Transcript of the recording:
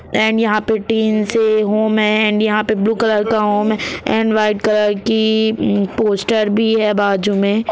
and यहां पे टींस है होम है यहां पे ब्लू कलर का होम है एण्ड व्हाइट कलर की पोस्टर भी है बाजु में--